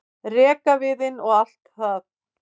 rekaviðinn og allt það.